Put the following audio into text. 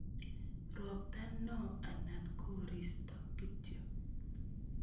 Ropta no anan koris kityo?